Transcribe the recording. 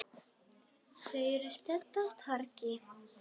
Þau eru stödd á torgi.